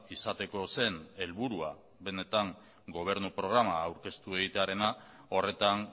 izateko zen helburua benetan gobernu programa aurkeztu egitearena horretan